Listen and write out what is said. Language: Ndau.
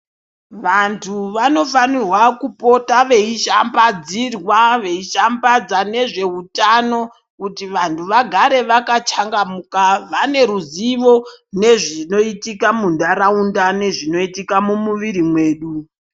Vantu vanofanirwa kupota veishambadzirwa veishambadza nezveutano kuti vanhu vagare vakachangamuka, vane ruzivo nezvinoitika muntaraunda nezvinoitika mumwiiri mwedu.